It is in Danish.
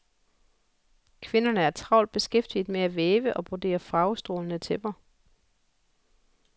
Kvinderne er travlt beskæftiget med at væve og brodere farvestrålende tæpper.